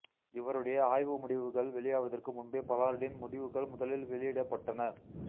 இவருடைய ஆய்வு முடிவுகள் வெளியாவதற்கு முன்பே பலார்டின் முடிவுகள் முதலில் வெளியிடப்பட்டன